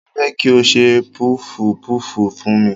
Mo fẹ́ kí o ṣe pọfupọ́fù fún mi.